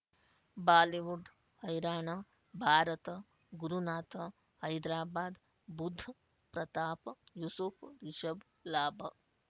Bollywood ಹೈರಾಣ ಭಾರತ ಗುರುನಾಥ ಹೈದರಾಬಾದ್ ಬುಧ್ ಪ್ರತಾಪ್ ಯೂಸುಫ್ ರಿಷಬ್ ಲಾಭ